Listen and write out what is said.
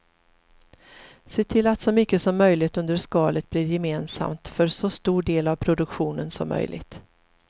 Se till att så mycket som möjligt under skalet blir gemensamt för så stor del av produktionen som möjligt.